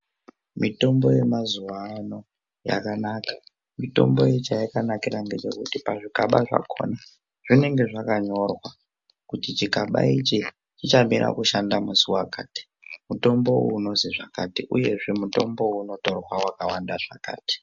Mitombo yemazuwano yakanaka..mitombo chayakanakira ndechekuti pazvigaba zvakhona zvinenge zvakanyorwa kuti chikaba ichi chichamira kushanda musi wakati, mutombo uyu unozi zvakati uyezve mutombo uyu unotorwa wakawanda zvakati.